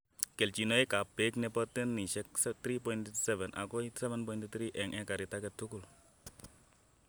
keljinoikap peek nebo tanisiek 3.7 agoi 7.3 eng' ekarit age tugul.